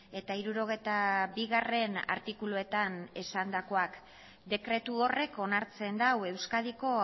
eta hirurogeita bigarrena artikuluetan esandakoak dekretu horrek onartzen du euskadiko